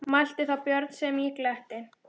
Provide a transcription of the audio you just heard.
Mælti þá Björn sem í gletti